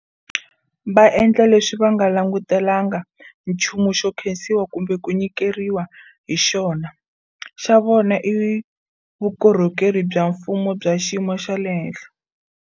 Va endla leswi va nga langutelanga nchumu xo nkhensiwa kumbe ku nyikeriwa hi xona. Xa vona i vukorhokeri bya mfumo bya xiyimo xa le henhla.